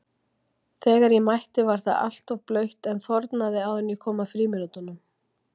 Þegar ég mætti var það alltaf blautt en þornaði áður en kom að frímínútunum.